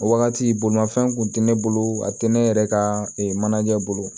O wagati bolimafɛn kun tɛ ne bolo a tɛ ne yɛrɛ ka mana ɲɛ bolo